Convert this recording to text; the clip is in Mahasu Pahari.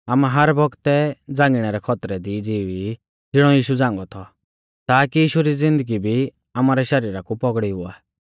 आमै हर बौगतै झ़ांगिणै रै खौतरै दी ज़िवी ई ज़िणौ यीशु झ़ांगौ थौ ताकी यीशु री ज़िन्दगी भी आमारै शरीरा कु पौगड़ी हुआ